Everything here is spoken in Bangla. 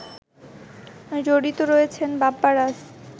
জড়িত রয়েছেন বাপ্পারাজ